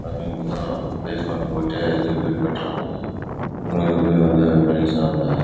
பைசெக்மென்ட் போட்டு வீடு கற்றங்க